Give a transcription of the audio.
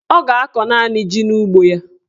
Ọ ga-akọ naanị ji n'ugbo ya.